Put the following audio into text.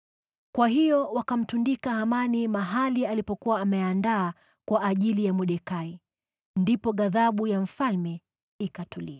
Kwa hiyo wakamtundika Hamani mahali alipokuwa ameandaa kwa ajili ya Mordekai. Ndipo ghadhabu ya mfalme ikatulia.